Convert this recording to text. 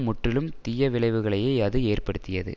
முற்றிலும் தீயவிளைவுகளையே அது ஏற்படுத்தியது